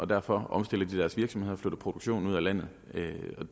derfor omstiller de deres virksomhed og flytter produktionen ud af landet